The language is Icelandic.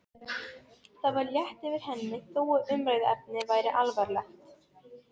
Það var létt yfir henni þó að umræðuefnið væri alvarlegt.